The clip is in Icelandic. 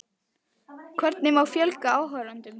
Hvernig má fjölga áhorfendum?